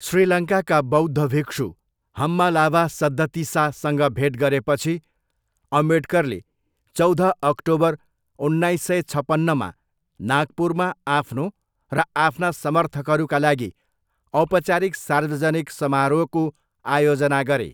श्रीलङ्काका बौद्ध भिक्षु हम्मालावा सद्दतिसासँग भेट गरेपछि, अम्बेडकरले चौध अक्टोबर उन्नाइस सय छपन्नमा नागपुरमा आफ्नो र आफ्ना समर्थकहरूका लागि औपचारिक सार्वजनिक समारोहको आयोजना गरे।